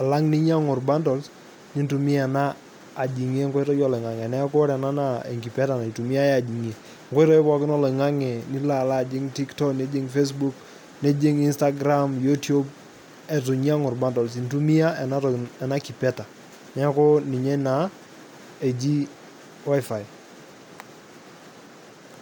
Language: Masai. alang' ninyang''u bundles, nintumia ena ajing'ie enkoitoi oloing'ang'e. Ore ena naa enkipeta naitumiai ajing'ie nkoitoi pookin oloing'ang'e nilo alo ajing' tiktok, nijing' facebook, nijing' instagram, youtube, etu inyang'u irbundles intumia ena kipeta neeku naa inye eji wifi.